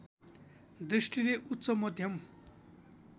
दृष्टिले उच्च मध्यम